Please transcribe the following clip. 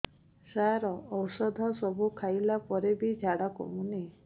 ସାର ଔଷଧ ସବୁ ଖାଇଲା ପରେ ବି ଝାଡା କମୁନି